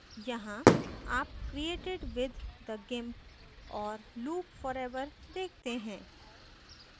यहाँ आप created with the gimp और loop forever देखते हैं